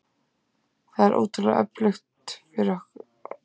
Það er ótrúlegt fyrir okkur.